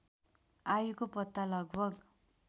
आयुको पत्ता लगभग